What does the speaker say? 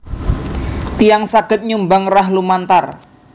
Tiyang saged nyumbang rah lumantar